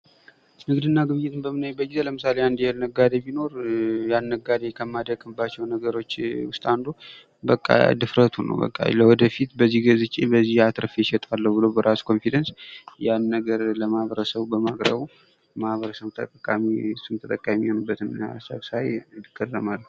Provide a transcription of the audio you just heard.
ንግድና ግብይትን በምናይበት ጊዜ ለምሳሌ አንድ ነጋዴ ቢኖር ያነጋዴ ከማድንቅባቸው ነገሮች አንዱ በቃ ድፍረቱን ነው። በቃል ወደ ፊት በዚህ ገዝቼ በዚህ አትርፌ እሸቱ አለው ብሎ በራሱ ኮንፊደንስ ለማህበረሰቡ በማቅረቡ ማበረሰቡም ተጠቃሚ እሱም ተጠቃሚ የሚሆኑበትን ሃሳብ ሳ